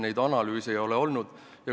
Neid analüüse ei ole tehtud.